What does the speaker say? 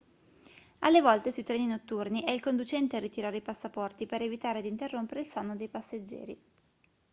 alle volte sui treni notturni è il conducente a ritirare i passaporti per evitare di interrompere il sonno dei passeggeri